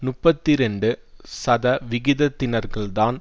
முப்பத்தி இரண்டு சதவிகிதத்தினர்கள் தான்